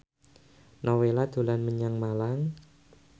Nowela dolan menyang Malang